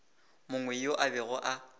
mongwe yo a bego a